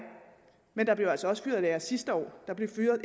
men der blev altså også fyret lærere sidste år der blev fyret